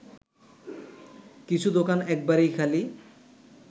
কিছু দোকান একবারেই খালি